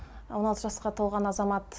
он алты жасқа толған азамат